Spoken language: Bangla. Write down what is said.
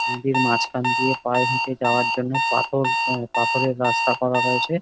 নদীর মাঝখান দিয়ে পায়ে হেঁটে যাওয়ার জন্য পাথর অ্যা পাথরের রাস্তা করা রয়েছে।